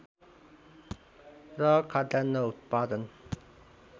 र खाद्यान्न उत्पादन